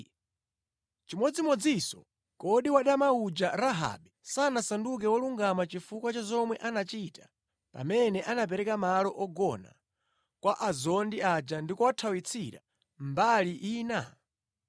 Nʼchimodzimodzinso, kodi wadama uja, Rahabe, sanasanduke wolungama chifukwa cha zomwe anachita pamene anapereka malo ogona kwa azondi aja ndi kuwathawitsira mbali ina?